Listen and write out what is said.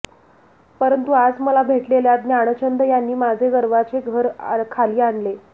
परंतु आज मला भेटलेल्या ज्ञानचंद यांनी माझे गर्वाचे घर खाली आणले